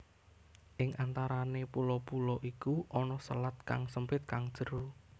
Ing antarane pulo pulo iku ana selat kang sempit kang jero